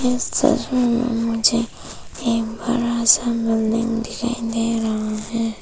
इस तस्वीर में मुझे एक बड़ा सा मंदिर दिखाई दे रहा है।